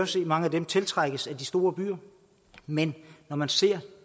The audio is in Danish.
se at mange af dem tiltrækkes af de store byer men når man ser